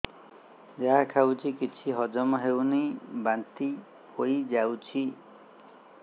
ଯାହା ଖାଉଛି କିଛି ହଜମ ହେଉନି ବାନ୍ତି ହୋଇଯାଉଛି